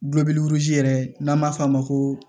yɛrɛ n'an b'a f'a ma ko